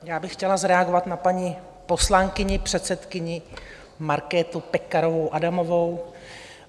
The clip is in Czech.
Já bych chtěla zareagovat na paní poslankyni, předsedkyni Markétu Pekarovou Adamovou.